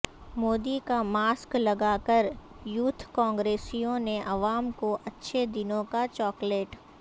مودی کا ماسک لگاکریوتھ کانگریسیوں نے عوام کو اچھے دنوں کاچاکلیٹ